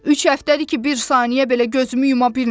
Üç həftədir ki, bir saniyə belə gözümü yuma bilmirəm.